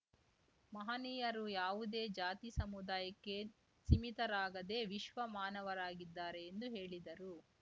ಮಹನೀಯರು ಯಾವುದೇ ಜಾತಿ ಸಮುದಾಯಕ್ಕೆ ಸೀಮಿತರಾಗದೆ ವಿಶ್ವ ಮಾನವರಾಗಿದ್ದಾರೆ ಎಂದು ಹೇಳಿದರು